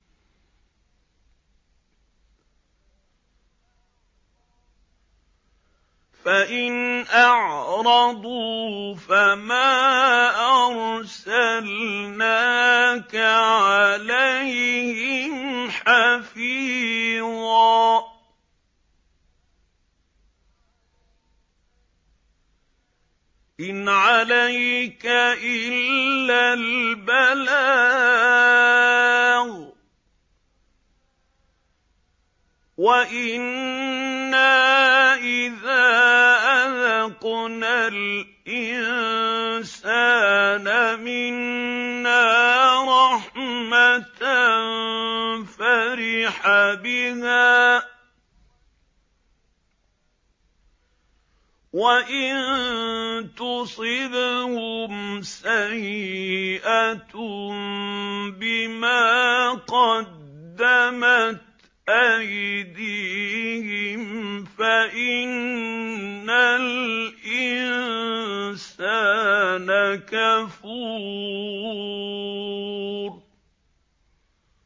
فَإِنْ أَعْرَضُوا فَمَا أَرْسَلْنَاكَ عَلَيْهِمْ حَفِيظًا ۖ إِنْ عَلَيْكَ إِلَّا الْبَلَاغُ ۗ وَإِنَّا إِذَا أَذَقْنَا الْإِنسَانَ مِنَّا رَحْمَةً فَرِحَ بِهَا ۖ وَإِن تُصِبْهُمْ سَيِّئَةٌ بِمَا قَدَّمَتْ أَيْدِيهِمْ فَإِنَّ الْإِنسَانَ كَفُورٌ